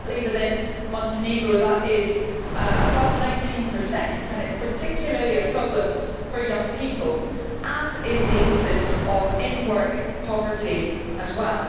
Currently within Montenegro that is above 19 and it is particularly a problem for young people, as is the incidence of in-work poverty as well.